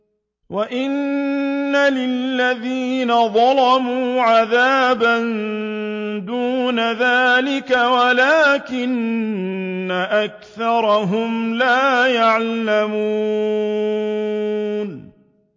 وَإِنَّ لِلَّذِينَ ظَلَمُوا عَذَابًا دُونَ ذَٰلِكَ وَلَٰكِنَّ أَكْثَرَهُمْ لَا يَعْلَمُونَ